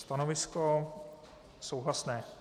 Stanovisko souhlasné.